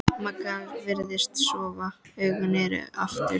Magga virðist sofa, augun eru aftur.